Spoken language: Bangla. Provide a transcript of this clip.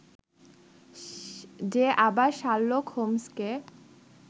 যে আবার শার্লক হোমসকে